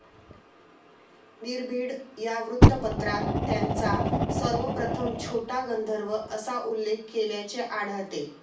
निर्भीड या वृत्तपत्रात त्यांचा सर्वप्रथम छोटा गंधर्व असा उल्लेख केल्याचे आढलते.